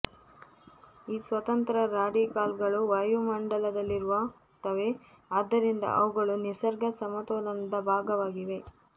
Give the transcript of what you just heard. ಈ ಸ್ವತಂತ್ರ ರಾಡಿಕಲ್ಗಳು ವಾಯುಮಂಡಲದಲ್ಲಿರುತ್ತವೆ ಆದ್ದರಿಂದ ಅವುಗಳು ನಿಸರ್ಗ ಸಮತೋಲನದ ಭಾಗವಾಗಿವೆ